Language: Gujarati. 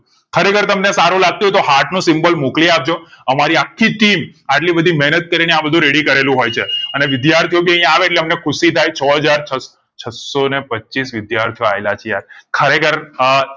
ખરેખર તમને સારું લાગતું હોય તો heart નો symbol મોકલી આપજો અમારી આખી team આટલી બધી મહેનત કરીને આ બધુ ready કરેલું હોય છે અને વિદ્યાર્થીઓ ભી અહીંયા આવે એટલે અમને ખુશી થાય છ હાજર છ છસો ને પચીશ વિદ્યાર્થીઓ અયેલા છે આજ ખરેખર અ